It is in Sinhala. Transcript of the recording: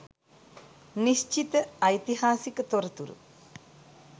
නිශ්චිත ඓතිහාසික තොරතුරු